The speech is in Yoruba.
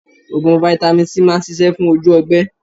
Oògùn Vitamin C máa ń ṣisẹ́ fún ojú ọgbẹ́